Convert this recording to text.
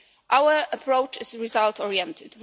Our approach is result oriented.